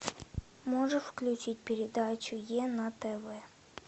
можешь включить передачу е на тв